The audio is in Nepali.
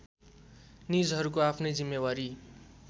निजहरूको आफ्नै जिम्मेवारी